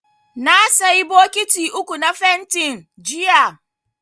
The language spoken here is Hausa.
Na sayi bokiti uku na fentin, jiya.